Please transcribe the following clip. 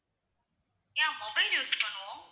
yeah mobile use பண்ணுவோம்